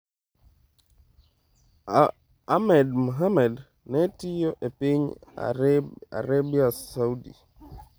Ahmed Mohamed ne tiyo e piny Arabia Saudi.